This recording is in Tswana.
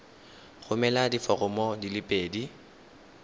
romela diforomo di le pedi